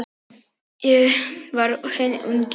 Ég var hinn ungi Davíð.